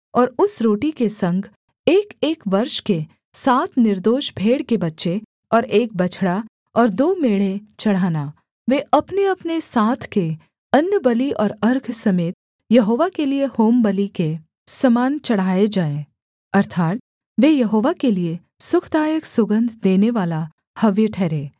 और उस रोटी के संग एकएक वर्ष के सात निर्दोष भेड़ के बच्चे और एक बछड़ा और दो मेढ़े चढ़ाना वे अपनेअपने साथ के अन्नबलि और अर्घ समेत यहोवा के लिये होमबलि के समान चढ़ाए जाएँ अर्थात् वे यहोवा के लिये सुखदायक सुगन्ध देनेवाला हव्य ठहरें